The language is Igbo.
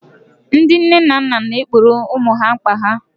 ndị nne na nna na-egboro ụmụ ha mkpa ha